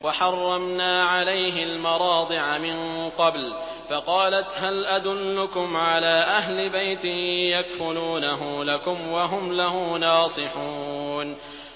۞ وَحَرَّمْنَا عَلَيْهِ الْمَرَاضِعَ مِن قَبْلُ فَقَالَتْ هَلْ أَدُلُّكُمْ عَلَىٰ أَهْلِ بَيْتٍ يَكْفُلُونَهُ لَكُمْ وَهُمْ لَهُ نَاصِحُونَ